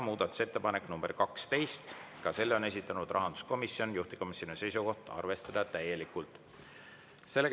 Muudatusettepanek nr 12, ka selle on esitanud rahanduskomisjon, juhtivkomisjoni seisukoht on arvestada täielikult.